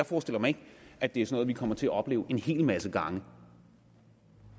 forestiller mig at det er sådan kommer til at opleve en hel masse gange